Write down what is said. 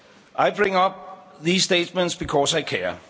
I bring up these statements because I care.